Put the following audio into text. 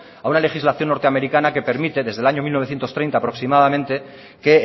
a una legislación norteamericana que permite desde el año mil novecientos treinta aproximadamente que